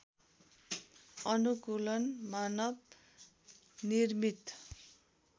अनुकूलन मानव निर्मित